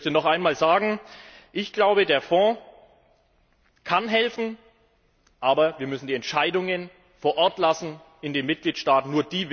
Ich möchte noch einmal sagen Ich glaube, der Fonds kann helfen, aber wir müssen die Entscheidungen vor Ort belassen, bei den Mitgliedstaaten.